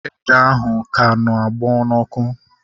Ede ahụ ka na-agbọ n'ọkụ